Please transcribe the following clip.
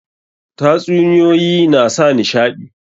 Tatsuniyoyi na sa nishaɗi.